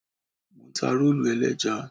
Mò ń ta rólù ẹlẹ́ja.